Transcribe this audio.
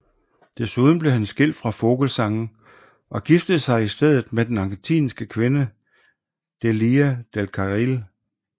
Desuden blev han skilt fra Vogelzang og giftede sig i stedet med den argentinske kvinde Delia del Carril